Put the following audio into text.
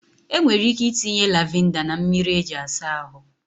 Enwere ike itinye lavinda na mmiri eji asa ahụ.